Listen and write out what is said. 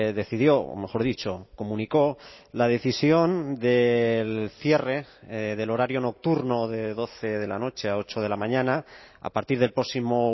decidió o mejor dicho comunicó la decisión del cierre del horario nocturno de doce de la noche a ocho de la mañana a partir del próximo